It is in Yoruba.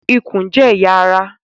Ikùn jẹ́ ẹ̀yà ará